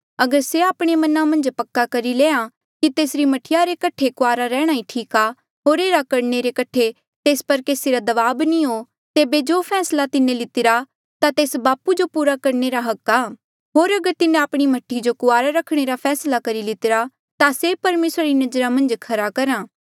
अगर से आपणे मना मन्झ पक्का करी लेआ कि तेसरी मह्ठीया रे कठे कुआरा रेहणा ही ठीक आ होर एह्ड़ा करणे रे कठे तेस पर केसी रा दबाब नी हो तेबे जो फैसला तिन्हें लितिरा ता तेस बापू जो पूरा करणे रा हक आ होर अगर तिन्हें आपणी मह्ठी जो कुआरा रखणे रा फैसला करी लितिरा ता से परमेसरा री नजरा मन्झ खरा करहा